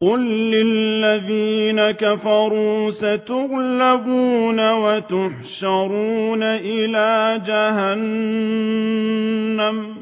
قُل لِّلَّذِينَ كَفَرُوا سَتُغْلَبُونَ وَتُحْشَرُونَ إِلَىٰ جَهَنَّمَ ۚ